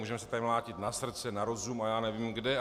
Můžeme se tady mlátit na srdce, na rozum a já nevím kde.